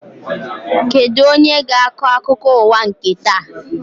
Kedụ onye ga-akọ akụkọ ụwa nke taa?